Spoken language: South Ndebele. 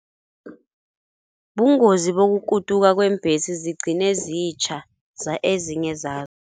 Bungozi bokukutuka kweembhesi zigcine zitjha ezinye